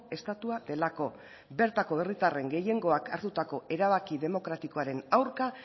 estatua delako bertako herritarren gehiengoak hartutako erabaki demokratikoaren aurka